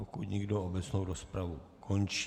Pokud nikdo, obecnou rozpravu končím.